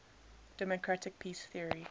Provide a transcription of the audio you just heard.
democratic peace theory